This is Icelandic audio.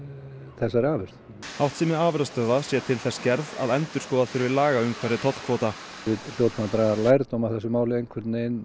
þessarri afurð háttsemi afurðastöðva sé til þess gerð að endurskoða þurfi lagaumhverfi tollkvóta við hljótum að draga lærdóm af þessu máli